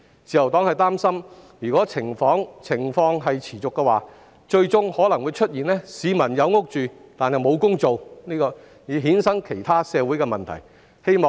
自由黨擔心，如果情況持續，最終可能導致部分市民有居所而沒有工作，繼而衍生其他社會問題。